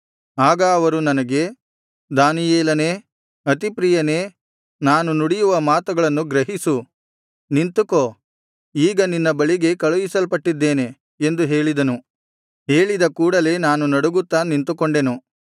ಆಗ ಅವರು ನನಗೆ ದಾನಿಯೇಲನೇ ಅತಿಪ್ರಿಯನೇ ನಾನು ನುಡಿಯುವ ಮಾತುಗಳನ್ನು ಗ್ರಹಿಸು ನಿಂತುಕೋ ಈಗ ನಿನ್ನ ಬಳಿಗೇ ಕಳುಹಿಸಲ್ಪಟ್ಟಿದ್ದೇನೆ ಎಂದು ಹೇಳಿದನು ಹೇಳಿದ ಕೂಡಲೆ ನಾನು ನಡುಗುತ್ತಾ ನಿಂತುಕೊಂಡೆನು